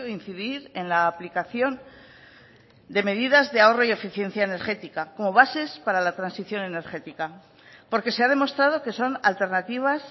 incidir en la aplicación de medidas de ahorro y eficiencia energética como bases para la transición energética porque se ha demostrado que son alternativas